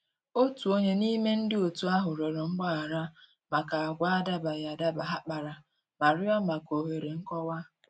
Otu onye n'ime ndị otu ahụ rịọrọ mgbaghara maka agwa adabaghị adaba ha kpara ma rịọ maka òhèrè nkọwa.